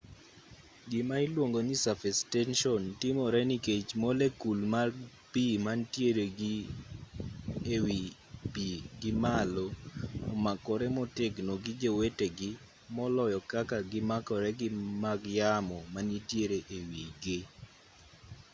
gima iluongo ni surface tension timore nikech molekul mag pi manitiere gi e wi pi gimalo omakore motegno gi jowetegi moloyo kaka gimakore gi mag yamo manitiere e wi gi